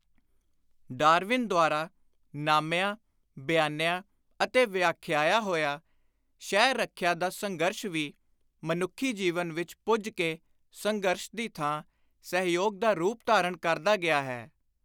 Darwin ਦੁਆਰਾ ਨਾਮਿਆ, ਬਿਆਨਿਆ ਅਤੇ ਵਿਆਂਖਿਆਇਆ ਹੋਇਆ ਸ਼ੈ-ਰੱਖਿਆ ਦਾ ਸੰਘਰਸ਼ ਵੀ ਮਨੁੱਖੀ ਜੀਵਨ ਵਿਚ ਪੁੱਜ ਕੇ ਸੰਘਰਸ਼ ਦੀ ਥਾਂ ਸਹਿਯੋਗ ਦਾ ਰੂਪ ਧਾਰਣ ਕਰਦਾ ਗਿਆ ਹੈ।